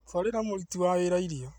Twarĩra mũruti wa wĩra irio